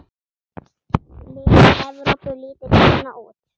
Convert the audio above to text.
Lið Evrópu lítur svona út